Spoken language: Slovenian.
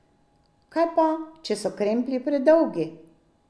Kaj pa, če so kremplji predolgi?